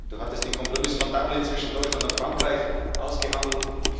Du hattest den Kompromiss von Dublin zwischen Deutschland und Frankreich ausgehandelt.